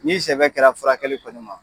N'i sɛbɛ kɛra furakɛli kɔni ma